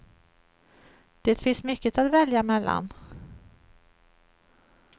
Det finns mycket att välja mellan.